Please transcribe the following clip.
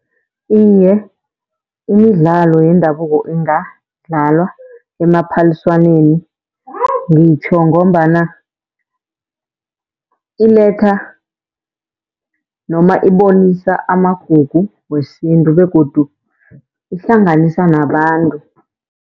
Iye, imidlalo yendabuko ingadlalwa emaphaliswaneni ngitjho ngombana iletha noma ibonisa amagugu wesintu begodu ihlanganisa nabantu.